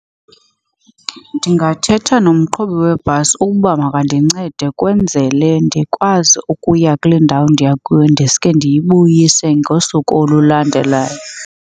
Ndingathetha nomqhubi webhasi ukuba makandincede kwenzele ndikwazi ukuya kule ndawo ndiya kuyo. Ndiske ndiyibuyise ngosuku olulandelayo.